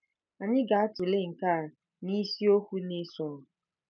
Anyị ga-atụle nke a n’isiokwu na-esonụ.